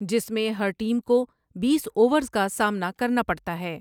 جس میں ہر ٹیم کو بیس اوورز کا سامنا کرنا پڑتا ہے ۔